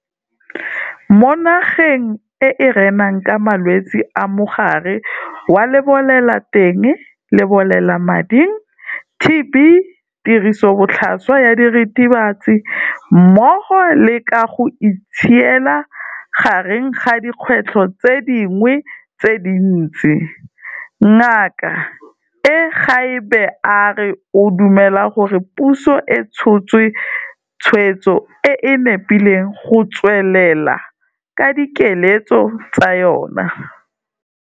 Mo nageng e e renang ka malwetse a Mogare wa Lebolelateng-Lebolelamading, TB, tirisobotlhaswa ya diritibatsi mmogo le ka go itshiela, gareng ga dikgwetlho tse dingwe tse dintsi, Ngaka Egbe a re o dumela gore puso e tshotse tshwetso e e nepileng go tswelela ka dikiletso tsa yona.